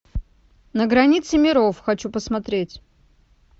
на границе миров хочу посмотреть